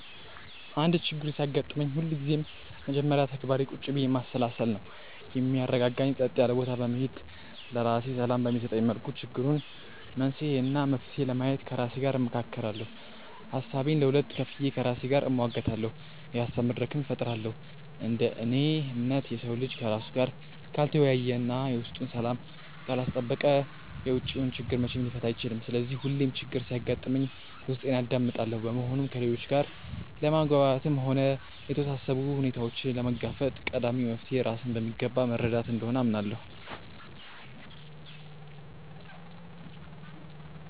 አንድ ችግር ሲያጋጥመኝ ሁልጊዜም የመጀመሪያ ተግባሬ ቁጭ ብዬ ማሰላሰል ነው። የሚያረጋጋኝ ጸጥ ያለ ቦታ በመሄድ፣ ለራሴ ሰላም በሚሰጠኝ መልኩ የችግሩን መንስኤ እና መፍትሄ ለማየት ከራሴ ጋር እመካከራለሁ። ሀሳቤን ለሁለት ከፍዬ ከራሴ ጋር እሟገታለሁ፤ የሀሳብ መድረክም እፈጥራለሁ። እንደ እኔ እምነት፣ የሰው ልጅ ከራሱ ጋር ካልተወያየ እና የውስጡን ሰላም ካላስጠበቀ የውጪውን ችግር መቼም ሊፈታ አይችልም። ስለዚህ ሁሌም ችግር ሲያጋጥመኝ ውስጤን አዳምጣለሁ። በመሆኑም ከሌሎች ጋር ለመግባባትም ሆነ የተወሳሰቡ ሁኔታዎችን ለመጋፈጥ ቀዳሚው መፍትሔ ራስን በሚገባ መረዳት እንደሆነ አምናለሁ።